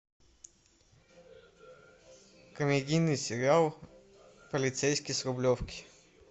комедийный сериал полицейский с рублевки